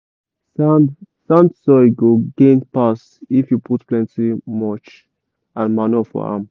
sand sand soil go gain pass if you put plenty mulch and manure for am.